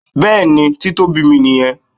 Bẹẹni, Títóbi mi nìyẹn.